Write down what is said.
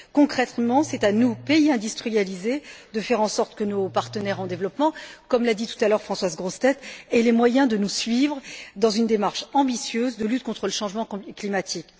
Concrètement, c'est à nous, pays industrialisés, de faire en sorte que nos partenaires en développement, comme l'a dit tout à l'heure Françoise Grossetête, aient les moyens de nous suivre dans une démarche ambitieuse de lutte contre le changement climatique.